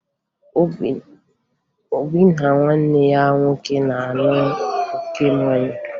Obi na nwanne ya nwoke na-aṅụ oke mmanya